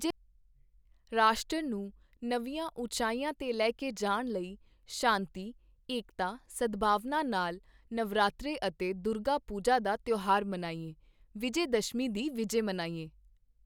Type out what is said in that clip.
ਰਾਸ਼ਟਰ ਨੂੰ ਨਵੀਆਂ ਉਚਾਈਆਂ ਤੇ ਲੈ ਕੇ ਜਾਣ ਲਈ ਸ਼ਾਂਤੀ, ਏਕਤਾ, ਸਦਭਾਵਨਾ ਨਾਲ ਨਵਰਾਤ੍ਰੇ ਅਤੇ ਦੁਰਗਾ ਪੂਜਾ ਦਾ ਤਿਓਹਾਰ ਮਨਾਈਏ, ਵਿਜੈਦਸ਼ਮੀ ਦੀ ਵਿਜੈ ਮਨਾਈਏ।